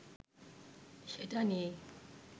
সেটা নিয়েই